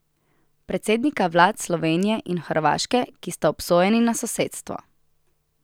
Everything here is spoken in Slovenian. Predsednika vlad Slovenije in Hrvaške, ki sta obsojeni na sosedstvo.